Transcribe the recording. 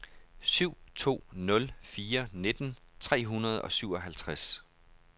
syv to nul fire nitten tre hundrede og syvoghalvtreds